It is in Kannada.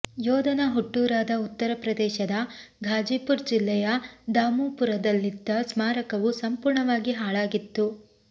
ಯೋಧನ ಹುಟ್ಟೂರಾದ ಉತ್ತರ ಪ್ರದೇಶದ ಘಾಜಿಪುರ್ ಜಿಲ್ಲೆಯ ದಾಮುಪುರದಲ್ಲಿದ್ದ ಸ್ಮಾರಕವು ಸಂಪೂರ್ಣವಾಗಿ ಹಾಳಾಗಿತ್ತು